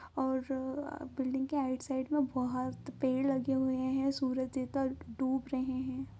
और बिल्डिंग के right side में बहुत पेड़ लगे हुये हैं और सूरज की डूब रहे हैं।